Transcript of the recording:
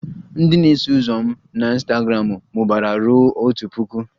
Ndị na-eso ụzọ m na Ịnstagramụ mụbara ruo otu puku